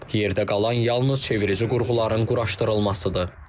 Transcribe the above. Yerdə qalan yalnız çevirici qurğuların quraşdırılmasıdır.